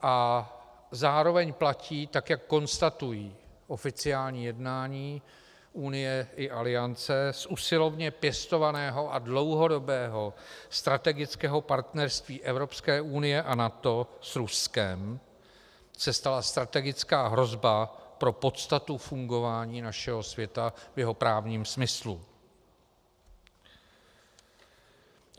A zároveň platí, tak jak konstatují oficiální jednání Unie i Aliance, z usilovně pěstovaného a dlouhodobého strategického partnerství Evropské unie a NATO s Ruskem se stala strategická hrozba pro podstatu fungování našeho světa v jeho právním smyslu.